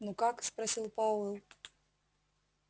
ну как спросил пауэлл